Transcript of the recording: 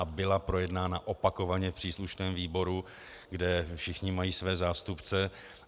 A byla projednána opakovaně v příslušném výboru, kde všichni mají své zástupce.